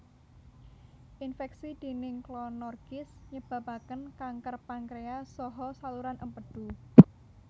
Infeksi déning Clonorchis nyebabaken kanker pankreas saha saluran empedu